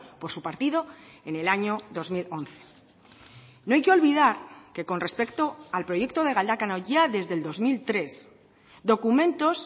por su partido en el año dos mil once no hay que olvidar que con respecto al proyecto de galdakao ya desde el dos mil tres documentos